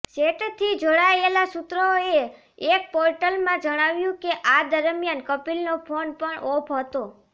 સેટથી જોડાયેલા સૂત્રઓએ એક પોર્ટલમાં જણાવ્યું કે આ દરમિયાન કપિલનો ફોન પણ ઓફ હતો